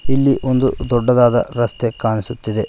ಇಲ್ಲಿ ಒಂದು ದೊಡ್ಡದಾದ ರಸ್ತೆ ಕಾಣಿಸುತ್ತಿದೆ.